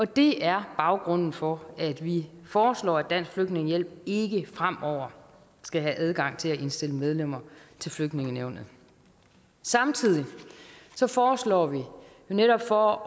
det er baggrunden for at vi foreslår at dansk flygtningehjælp ikke fremover skal have adgang til at indstille medlemmer til flygtningenævnet samtidig foreslår vi netop for